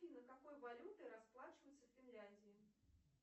афина какой валютой расплачиваются в финляндии